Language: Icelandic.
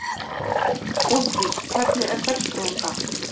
Úlfdís, hvernig er dagskráin í dag?